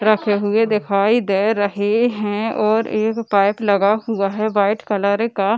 रखे हुए दिखाई दे रहे हैं और एक पाइप लगा हुआ है व्हाइट कलर का है ।